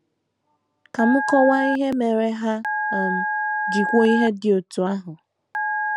Ka m kọwaa ihe mere ha um ji kwuo ihe dị otú ahụ.